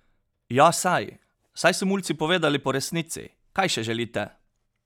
Ja saj, saj so mulci povedali po resnici, kaj še želite?